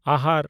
ᱟᱦᱟᱨ